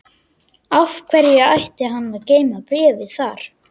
Af hverju ætti hann að geyma bréfið þar?